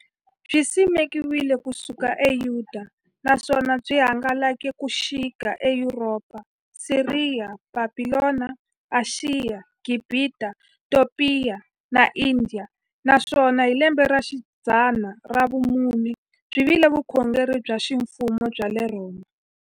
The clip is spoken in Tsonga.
Byisimekiwe ku suka e Yudeya, naswona byi hangalake ku xika e Yuropa, Siriya, Bhabhilona, Ashiya, Gibhita, Topiya na Indiya, naswona hi lembexidzana ra vumune byi vile vukhongeri bya ximfumo bya le Rhoma.